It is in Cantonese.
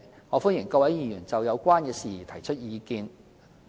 我歡迎各位議員就有關的事宜提出意見。